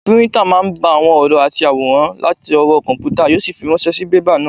Píríntà máa n gba àwọn ọ̀rọ̀ àti àwòrán látọwọ́ kọ̀mpútà yó sì fi ránṣẹ́ sí bébà náà